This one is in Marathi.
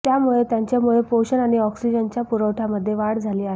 त्यामुळे त्यांच्या मुळे पोषण आणि ऑक्सिजनच्या पुरवठ्यामध्ये वाढ झाली आहे